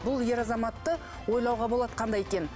бұл ер азаматты ойлауға болады қандай екенін